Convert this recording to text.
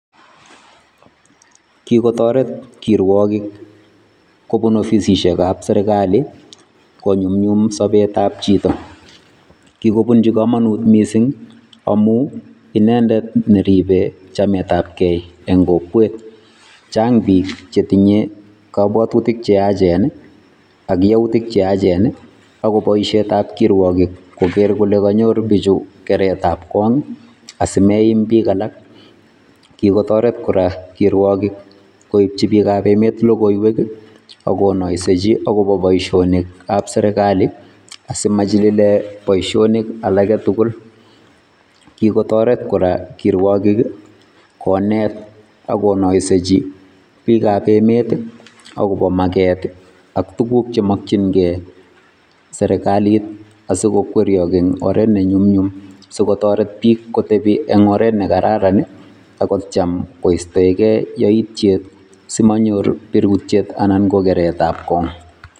Kikotoret kirwokik kobun ofisishekab serikali konyumnyum sobetab chito kikobunchi komonut mising amun inendet neribe chametabke eng' kokwet, chang biik chetinye kobwotutik cheyachen ak youtik cheachen ak ko boishetab kirwokik koker kole konyor bichuu keretab kong asimaimbik alak, kikotoret kora kirwokik koibchi biikab emet lokoiwek akonoisechi akobo boishonikab serikali asimachililen boishonik alak tukul, kikotoret kora kirwokik konet ak konoisechi biikab emet akobo makeet ak tukuk chemokying'e serikalit asikokwerio eng' oret ne nyumnyum sikotoret biik kotebi en oreet nekararan ak kotiem kostoeke yoityet simonyor birutiet anan ko keretab kong.